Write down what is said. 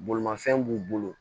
Bolimafɛn b'u bolo